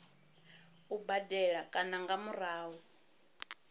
u badela kana nga murahu